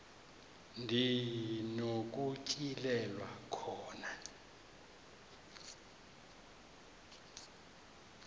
ndi nokutyhilelwa khona